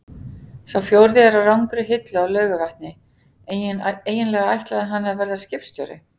Sá fjórði er á rangri hillu á Laugarvatni- eiginlega ætlaði hann að verða skipstjóri.